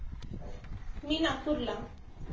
मी नागपूरला.